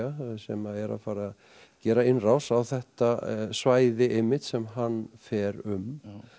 sem er að fara að gera innrás á þetta svæði einmitt sem hann fer um